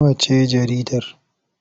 Nawa ce jaridar?